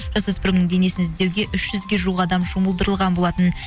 жасөспірімнің денесін іздеуге үш жүзге жуық адам жұмылдырылған болатын